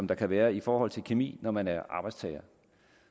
der kan være i forhold til kemi når man er arbejdstager